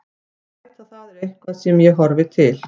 Að bæta það er eitthvað sem ég horfi til.